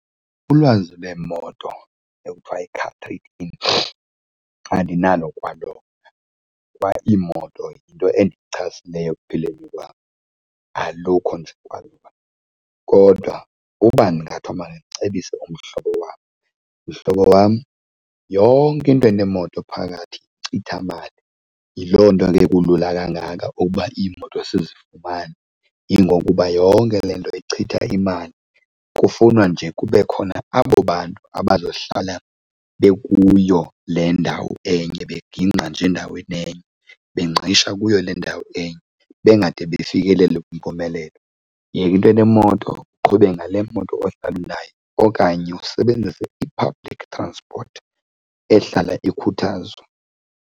Ulwazi lweemoto ekuthiwa yi-car trade in andinalo kwalona. Kwaiimoto yinto endichasileyo ekuphileni kwam, alukho nje . Kodwa uba kungathiwa mandicebise umhlobo wam, mhlobo wam, yonke into enemoto phakathi yinkcithamali. Yiloo nto ke kulula kangaka uba imoto sizifumane, yingokuba yonke le nto ichitha imali kufunwa nje kube khona abo bantu abazohlala bekuyo le ndawo enye bengingqa nje endaweni enye, bengqisha kuyo le ndawo enye bengade befikelele kwimpumelelo. Yeka into enemoto, uqhube ngale moto ohlalala unayo okanye usebenzise i-public transport ehlala ikhuthazwa.